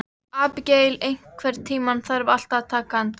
Abigael, einhvern tímann þarf allt að taka enda.